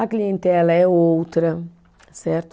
A clientela é outra, certo?